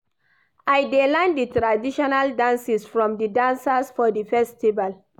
I dey learn di traditional dances from di dancers for di festival.